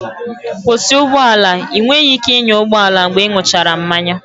Kwụsị ụgbọ ala! Ị nweghị ike ịnya ụgbọ ala mgbe ịṅụchara mmanya